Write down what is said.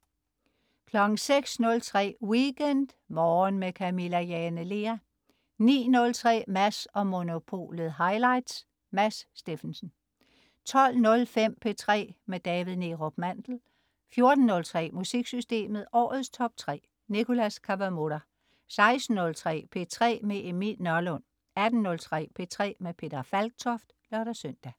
06.03 WeekendMorgen med Camilla Jane Lea 09.03 Mads & Monopolet highlights. Mads Steffensen 12.05 P3 med David Neerup Mandel 14.03 MusikSystemet. Årets Top 3. Nicholas Kawamura 16.03 P3 med Emil Nørlund 18.03 P3 med Peter Falktoft (lør-søn)